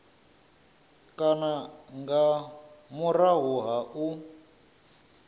kana nga murahu ha u